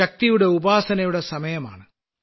ശക്തിയുടെ ഉപാസനയുടെ സമയമാണ്